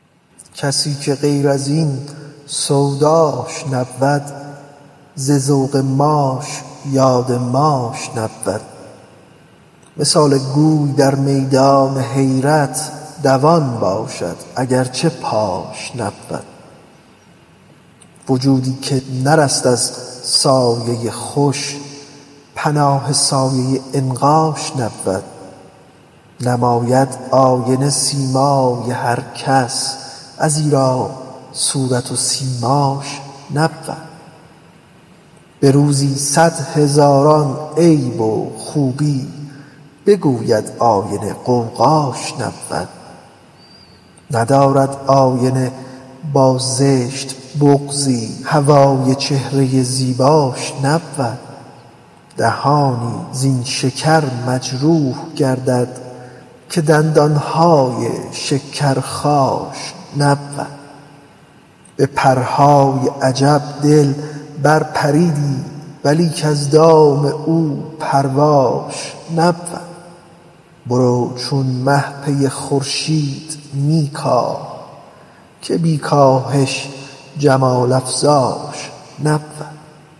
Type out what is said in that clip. کسی که غیر این سوداش نبود ز ذوق ماش یاد ماش نبود مثال گوی در میدان حیرت دوان باشد اگر چه پاش نبود وجودی که نرست از سایه خوش پناه سایه عنقاش نبود نماید آینه سیمای هر کس ازیرا صورت و سیماش نبود به روزی صد هزاران عیب و خوبی بگوید آینه غوغاش نبود ندارد آینه با زشت بغضی هوای چهره زیباش نبود دهانی زین شکر مجروح گردد که دندان های شکر خاش نبود به پرهای عجب دل بر پریدی ولیک از دام او پرواش نبود برو چون مه پی خورشید می کاه که بی کاهش جمال افزاش نبود